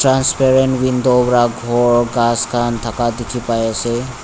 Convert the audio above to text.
transparent window wara ghor ghas khan thaka dikhi pai ase.